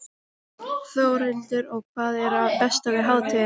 Þórhildur: Og hvað er það besta við hátíðina?